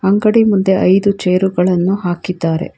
ಅಂಗಡಿಯ ಮುಂದೆ ಐದು ಚೇರ್ ಗಳನ್ನು ಹಾಕಿದ್ದಾರೆ.